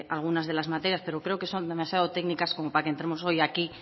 algunas de las materias pero creo que son demasiado técnicas como para que entremos hoy aquí